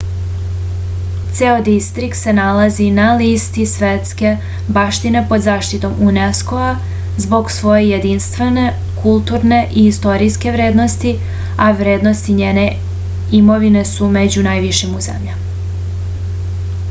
ceo distrikt se nalazi na listi svetske baštine pod zaštitom unesco-a zbog svoje jedinstvene kulturne i istorijske vrednosti a vrednosti njene imovine su među najvišim u zemlji